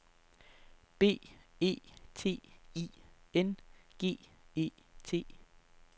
B E T I N G E T